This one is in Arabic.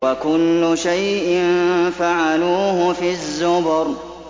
وَكُلُّ شَيْءٍ فَعَلُوهُ فِي الزُّبُرِ